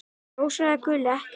Rósa eða Gulli: Ekki mikið.